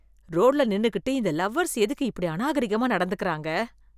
ரோட்ல நின்னுகிட்டு இந்த லவ்வர்ஸ் எதுக்கு இப்படி அநாகரிகமா நடந்துக்கறாங்க?